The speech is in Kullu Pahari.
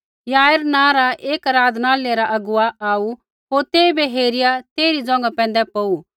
याईर नाँ रा एक आराधनालय रा अगुवा आऊ होर तेइबै हेरिया तेइरी ज़ोंघा पैंधै पौऊ